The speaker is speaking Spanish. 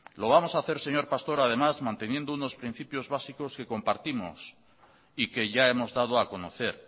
lo vamos hacer señor pastor además manteniendo unos principios básicos que compartimos y que ya hemos dado a conocer